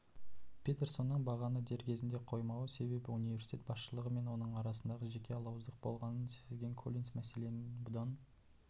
петерсонның бағаны дер кезінде қоймауының себебі университет басшылығы мен оның арасындағы жеке алауыздық болғанын сезген коллинс мәселенің бұдан